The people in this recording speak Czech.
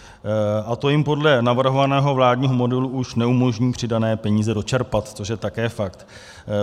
A to jim podle navrhovaného vládního modelu už neumožní přidané peníze dočerpat, což je také fakt.